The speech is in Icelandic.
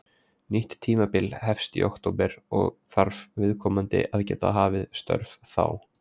Nýtt tímabil hefst í október og þarf viðkomandi að geta hafið störf þá.